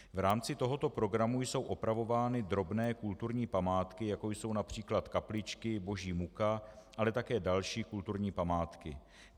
V rámci tohoto programu jsou opravovány drobné kulturní památky, jako jsou například kapličky, boží muka, ale také další kulturní památky.